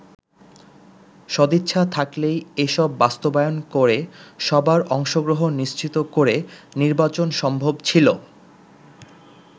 সদিচ্ছা থাকলেই এসব বাস্তবায়ন করে সবার অংশগ্রহণ নিশ্চিত করে নির্বাচন সম্ভব ছিল।